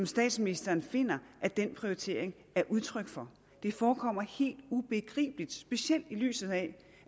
statsministeren finder at den prioritering er udtryk for det forekommer helt ubegribeligt specielt i lyset af